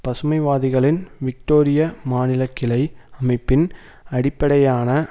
பசுமைவாதிகளின் விக்டோரிய மாநிலக்கிளை அமைப்பின் அடிப்படையான